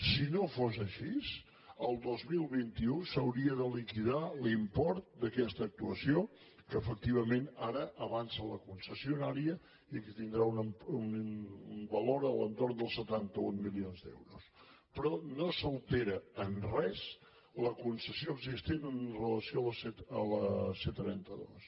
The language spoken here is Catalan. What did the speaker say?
si no fos així el dos mil vint u s’hauria de liquidar l’import d’aquesta actuació que efectivament ara avança la concessionària i que tindrà un valor a l’entorn dels setanta un milions d’euros però no s’altera en res la concessió existent amb relació a la c trenta dos